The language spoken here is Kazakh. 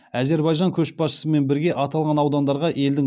әзербайжан көшбасшысымен бірге аталған аудандарға елдің